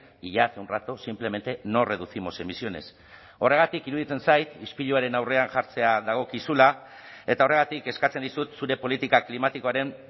y ya hace un rato simplemente no reducimos emisiones horregatik iruditzen zait ispiluaren aurrean jartzea dagokizula eta horregatik eskatzen dizut zure politika klimatikoaren